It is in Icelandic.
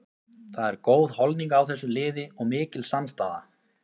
Það er góð holning á þessu liði og mikil samstaða.